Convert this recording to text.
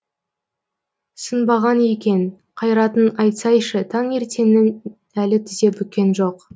сынбаған екен қайратын айтсайшы таңертеңнің әлі тізе бүккен жоқ